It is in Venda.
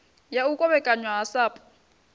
ya u kovhekanywa ha sapu